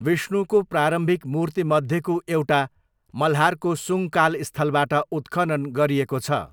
विष्णुको प्रारम्भिक मूर्ति मध्येको एउटा मल्हारको सुङ्गकाल स्थलबाट उत्खनन गरिएको छ।